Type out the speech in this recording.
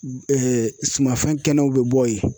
sumanfɛn kɛnɛw bɛ bɔ yen.